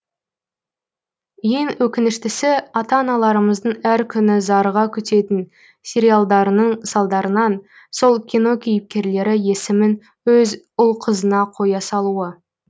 ең өкініштісі ата аналарымыздың әр күні зарыға күтетін сериялдарының салдарынан сол кино кейіпкерлері есімін өз ұл қызына қоя салуы